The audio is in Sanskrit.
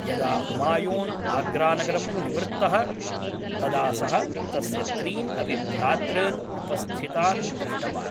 यदा हुमायून् आग्रा नगरं निवृत्तः तदा सः तस्य त्रीन् अपि भ्रातॄन् उपस्थितान् दृष्टवान्।